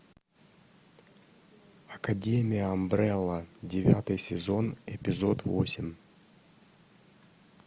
академия амбрелла девятый сезон эпизод восемь